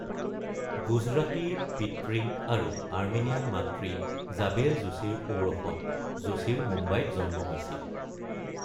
গুজৰাটী পিতৃ আৰু আৰ্মেনিয়ান মাতৃ জাবেল যোশীৰ ঔৰসত যোশীৰ মুম্বাইত জন্ম হৈছিল ।